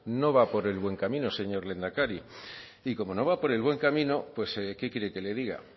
no va por el buen camino señor lehendakari y cómo no va por el buen camino pues qué quiere que le diga